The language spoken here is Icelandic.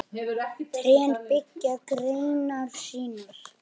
Trén beygja greinar sínar.